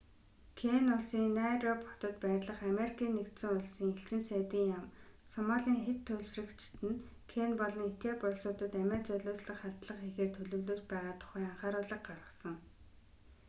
кени улсын найроби хотод байрлах америкийн нэгдсэн улсын элчин сайдын яам сомалийн хэт туйлшрагчид нь кени болон этиоп улсуудад амиа золиослох халдлага хийхээр төлөвлөж байгаа тухай анхааруулга гаргасан